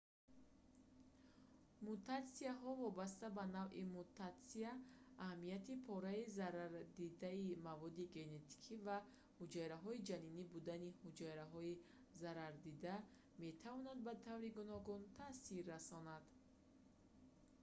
мутатсияҳо вобаста ба навъи мутатсия аҳамияти пораи зарардидаи маводи генетикӣ ва ҳуҷайраҳои ҷанинӣ будани ҳуҷайраҳои зарардида метавонанд ба таври гуногун таъсир расонанд